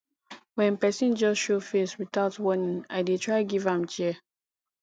wen pesin just show face witout warning i dey try give am chair